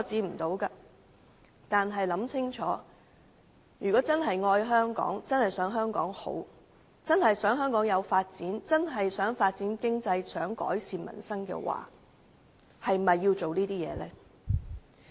不過，請大家想清楚，如果是真正愛香港，希望香港好，希望香港發展經濟和改善民生，應否再做這些事情？